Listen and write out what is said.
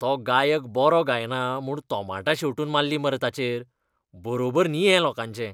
तो गायक बरो गायना म्हूण तोमाटां शेंवटून मारलीं मरे ताचेर! बरोबर न्ही हें लोकांचें.